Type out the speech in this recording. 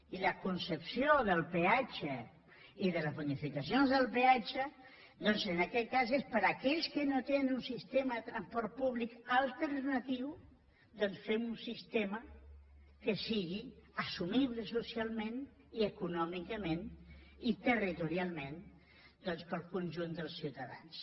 i la concepció del peatge i de les bonificacions del peatge doncs en aquest cas és per a aquells que no tenen un sistema de transport públic alternatiu fem un sistema que sigui assumible socialment i econòmicament i territorialment pel conjunt dels ciutadans